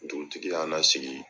Dugutigi y'an lasigi